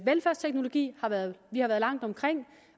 velfærdsteknologi har vi været langt omkring